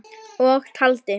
Og taldi